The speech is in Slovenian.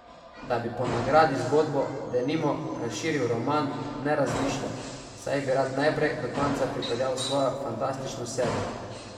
Da bi po nagradi zgodbo, denimo, razširil v roman, ne razmišlja, saj bi rad najprej do konca pripeljal svojo fantastično serijo.